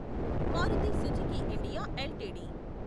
Maruti Suzuki India LTD